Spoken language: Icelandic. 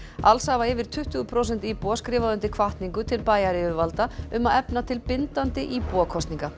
alls hafa yfir tuttugu prósent íbúa skrifað undir hvatningu til bæjaryfirvalda um að efna til bindandi íbúakosninga